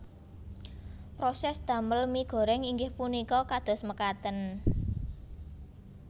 Prosès damel mie goreng inggih punika kados mekaten